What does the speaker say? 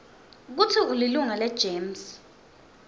kutsi ulilunga legems